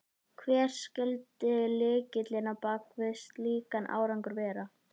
Hrund: Skilur þú áhyggjur náttúruverndarsinna?